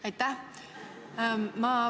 Aitäh!